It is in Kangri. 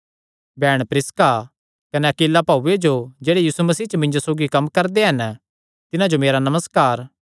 बैहण प्रिसका कने अक्विला भाऊये जो जेह्ड़े यीशु मसीह च मिन्जो सौगी कम्म करदे हन तिन्हां जो मेरा नमस्कार